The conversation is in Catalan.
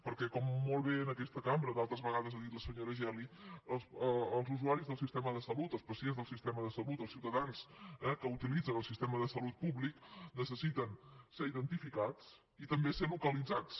perquè com molt bé en aquesta cambra d’altres vegades ha dit la senyora geli els usuaris del sistema de salut els pacients del sistema de salut els ciutadans que utilitzen el sistema de salut públic necessiten ser identificats i també ser localitzats